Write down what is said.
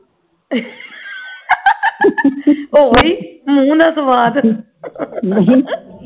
ਓਹੀ ਮੂੰਹ ਨਾਲ ਸਵਾਦ